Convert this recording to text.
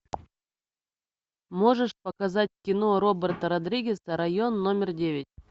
можешь показать кино роберта родригеса район номер девять